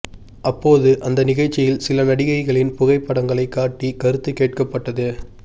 அப்போது அந்த நிகழ்ச்சியில் சில நடிகைகளின் புகை படங்களை காட்டி கருத்து கேட்கப் பட்டது